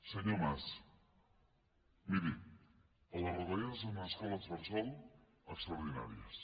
senyor mas miri les retallades en escoles bressol extraordinàries